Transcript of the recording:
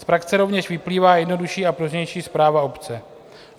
Z praxe rovněž vyplývá jednodušší a pružnější správa obce.